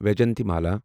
Vyjayanthimala